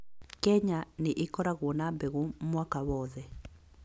Kenya nĩ ĩkoragwo na mbegũ mwaka wothe